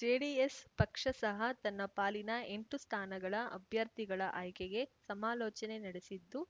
JDS ಪಕ್ಷ ಸಹ ತನ್ನ ಪಾಲಿನ ಎಂಟು ಸ್ಥಾನಗಳ ಅಭ್ಯರ್ಥಿಗಳ ಆಯ್ಕೆಗೆ ಸಮಾಲೋಚನೆ ನಡೆಸಿತ್ತು